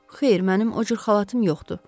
Xeyr, mənim o cür xalatım yoxdur.